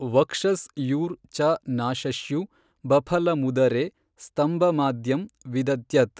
ವಕ್ಷಸ್ ಯೂರ್ ಚ ನಾಶಶ್ಯು ಭಫಲಮುದರೇ ಸ್ತಂಭಮಾದ್ಯಂ ವಿದಧ್ಯತ್।